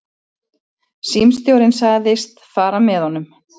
Símstjórinn sagðist fara með honum.